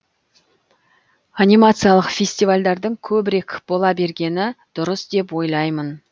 анимациялық фестивальдардың көбірек бола бергені дұрыс деп ойлаймын